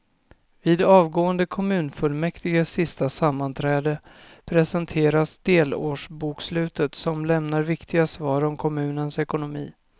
Vid avgående kommunfullmäktiges sista sammanträde presenteras delårsbokslutet som lämnar viktiga svar om kommunens ekonomi.